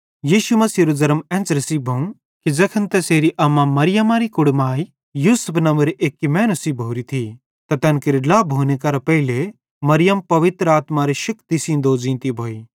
यीशु मसीहेरू ज़र्म एन्च़रे सेइं भोवं कि ज़ैखन तैसेरी अम्मा मरियमरी कुड़माइ यूसुफ नंव्वे एक्की मैनू सेइं भोरी थी त तैन केरे ड्ला भोने करां पेइले मरियम पवित्र आत्मारे शेक्ति सेइं दोज़ींती भोई